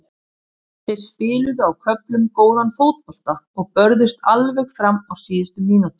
Þeir spiluðu á köflum góðan fótbolta og börðust alveg fram á síðustu mínútu.